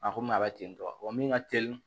A komi a bɛ tentɔ wa min ka telin